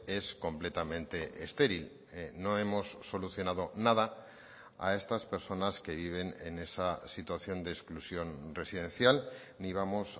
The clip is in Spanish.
es completamente estéril no hemos solucionado nada a estas personas que viven en esa situación de exclusión residencial ni vamos